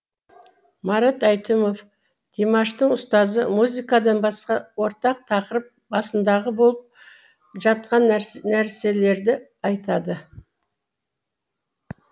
марат әйтімов димаштың ұстазы музыкадан басқа ортақ тақырып басындағы болып жатқан нәрселерді айтады